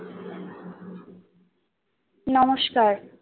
নমস্কার